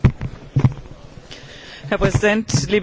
Herr Präsident, liebe Kolleginnen und Kollegen!